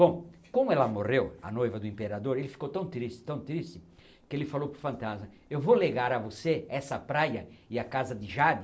Bom, como ela morreu, a noiva do imperador, ele ficou tão triste, tão triste, que ele falou para o fantasma, eu vou legar a você essa praia e a casa de Jade,